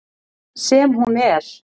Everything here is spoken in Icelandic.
Sem hún er.